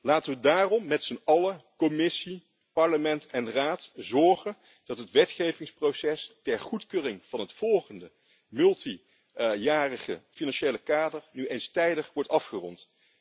Laten we daarom met z'n allen, Commissie, Parlement en Raad, ervoor zorgen dat het wetgevingsproces ter goedkeuring van het volgende meerjarig financieel kader nu eens tijdig wordt afgerond.